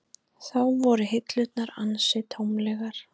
Þá voru hillurnar ansi tómlegar.